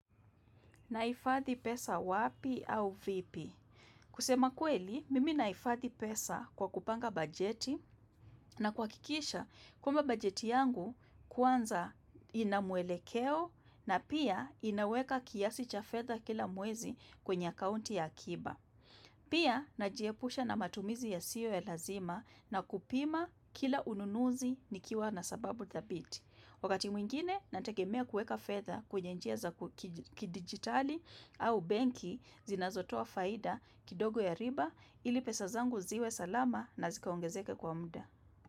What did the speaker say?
Nahifadhi pesa wapi au vipi? Kusema kweli, mimi nahifadhi pesa kwa kupanga bajeti na kuhakikisha kwamba bajeti yangu kwanza ina mwelekeo na pia inaweka kiasi cha fedha kila mwezi kwenye akaunti ya akiba. Pia, najiepusha na matumizi yasiyo ya lazima na kupima kila ununuzi nikiwa na sababu dhabiti. Wakati mwingine, nategemea kuweka fedha kwenye njia za ku kikidijitali au benki zinazotoa faida kidogo ya riba ili pesa zangu ziwe salama na zikaongezeke kwa muda.